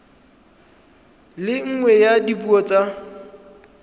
le nngwe ya dipuo tsa